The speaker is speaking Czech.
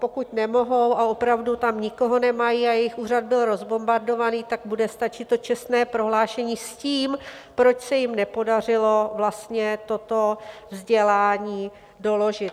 Pokud nemohou a opravdu tam nikoho nemají a jejich úřad byl rozbombardovaný, tak bude stačit to čestné prohlášení, s tím, proč se jim nepodařilo vlastně toto vzdělání doložit.